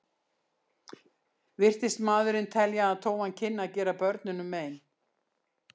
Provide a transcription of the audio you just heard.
Virtist maðurinn telja að tófan kynni að gera börnunum mein.